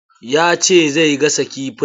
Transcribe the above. Ya ce zai gasa kifin.